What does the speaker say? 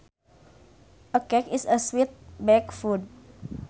A cake is a sweet baked food